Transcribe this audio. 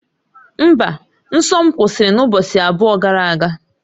Mba, nsọ m kwụsịrị n'ụbọchị abụọ gara aga